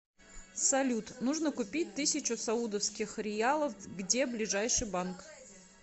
салют нужно купить тысячу саудовских риялов где ближайший банк